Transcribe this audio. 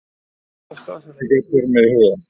En hvaða staðsetningu eru þeir með í huga?